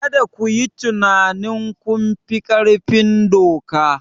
Kada ku yi tunanin kun fi ƙarfin doka!